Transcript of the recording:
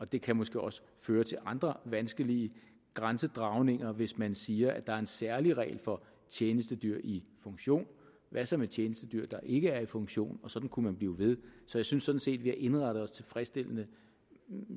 det kan måske også føre til andre vanskelige grænsedragninger hvis man siger at der en særlig regel for tjenestedyr i funktion hvad så med tjenestedyr der ikke er i funktion og sådan kunne man blive ved så jeg synes sådan set at vi har indrettet os tilfredsstillende